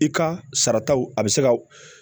I ka sarataw a bɛ se ka